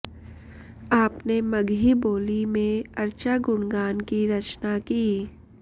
आपने मगही बोली में अर्चा गुणगान की रचना की